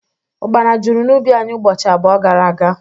Ukpana jụrụ n'ubi anyị ụbọchị abụọ gara aga